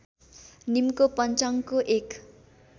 नीमको पञ्चाङ्गको एक